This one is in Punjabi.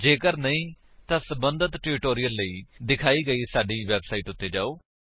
ਜੇਕਰ ਨਹੀਂ ਤਾਂ ਸਬੰਧਤ ਟਿਊਟੋਰਿਲ ਲਈ ਦਿਖਾਈ ਗਈ ਸਾਡੀ ਵੇਬਸਾਈਟ ਉੱਤੇ ਜਾਓ